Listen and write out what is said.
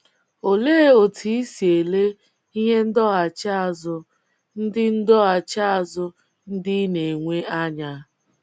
Olee otú i si ele ihe ndọghachi azụ ndị ndọghachi azụ ndị ị na - enwe anya?